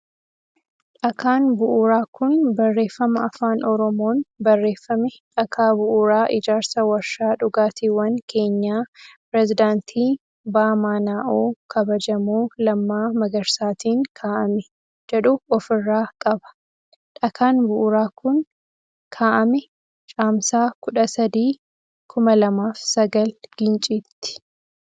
Dhakaan bu'uuraa kun barreeffama afaan oromoon barreeffame dhakaa bu'uuraa ijaarsa warshaa dhugaatiwwan keenyaa pireezidaantii BMNO kabajamoo Lammaa Magarsaatin kaa'ame jedhu of irraa qaba. Dhakaan bu'uura kun kaa'ame caamsaa 13/2009 ginciitti.